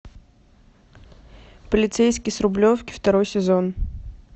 полицейский с рублевки второй сезон